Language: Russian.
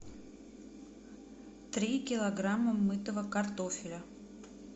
три килограмма мытого картофеля